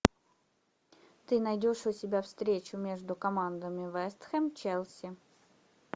ты найдешь у себя встречу между командами вест хэм челси